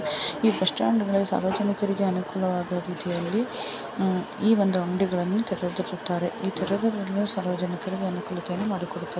ಈ ಬಸ್ಟ್ಯಾಂಡ್ ಗಳಲ್ಲಿ ಸಾರ್ವಜನಿಕರಿಗೆ ಅನುಕೂಲ ವಾಗುವ ರೀತಿಯಲ್ಲಿ ಉಹ್ ಈ ಒಂದು ಅಂಗಡಿಗಳನ್ನು ತೆರೆದಿರುತ್ತಾರೆ ಈ ತೆರೆದಿರುಲು ಸಾರ್ವಜನಿಕರಿಗೆ ಅನುಕೂಲತೆಯನ್ನು ಮಾಡಿಕೊಡುತ್ತಾರೆ.